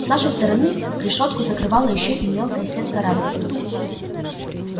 с нашей стороны решётку закрывала ещё и мелкая сетка рабица